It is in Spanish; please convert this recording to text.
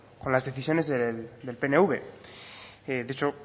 con las decisiones del pnv dicho